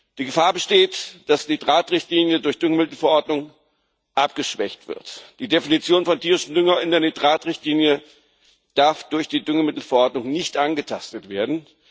Die Gefahr besteht, dass die Nitratrichtlinie durch die Düngemittelverordnung abgeschwächt wird. Die Definition von tierischem Dünger in der Nitratrichtlinie darf durch die Düngemittelverordnung nicht angetastet werden.